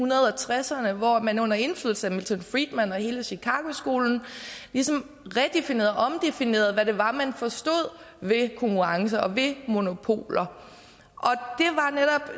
tresserne hvor man under indflydelse af milton friedman og hele chicago skolen ligesom redefinerede og omdefinerede hvad det var man forstod ved konkurrence og ved monopoler